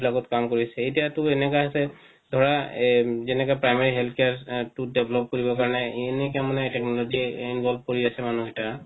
লগত কাম কৰিছে এতিয়া তো এনেকা আছে ধৰা এ যেনেকা primary health care টো develop কৰিৱ কাৰনে এনেকা মানে involve কৰি আছে মানুহ কেইটা